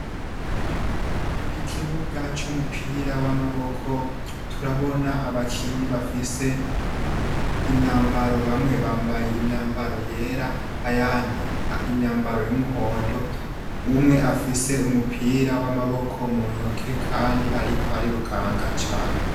Ikibuga c'umupira w'amaboko turabona abakinyi bafise imyambara bamwe bambaye imyambaro yera, ayandi imyambaro y'umuhondo, umwe afise umupira w’amaboko muntoke kandi ariko arirukanga cane.